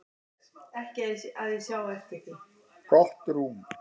Gott rúm.